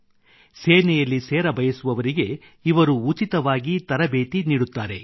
ಅವರು ಸೇನೆಯಲ್ಲಿ ಸೇರಬೇಕೆಂದು ಕೊಳ್ಳುವವರಿಗೆ ಇವರು ತರಬೇತಿ ನೀಡುತ್ತಾರೆ